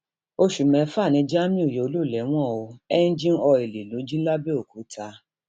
oṣù mẹfà ni jamiu yóò lò lẹwọn o ẹńjìn ọìlì ló jí lápẹòkúta